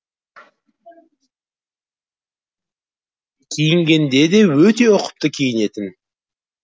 киінгенде де өте ұқыпты киінетін